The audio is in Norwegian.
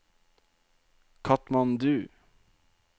Katmandu